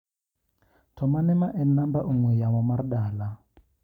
To mane ma en namba ong'ue yamo mar dala?